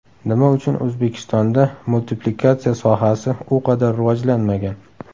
Nima uchun O‘zbekistonda multiplikatsiya sohasi u qadar rivojlanmagan?